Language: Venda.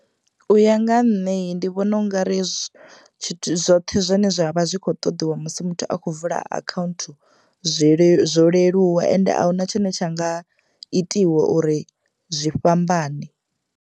U ya nga ha nṋe ndi vhona ungari zwithu zwoṱhe zwine zwa vha zwi kho ṱoḓiwa musi muthu a khou vula akhaunthu zwi le zwo leluwa ende a huna tshine tsha nga itiwa uri zwi fhambane.